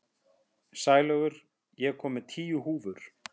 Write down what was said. Sælaugur, ég kom með tíu húfur!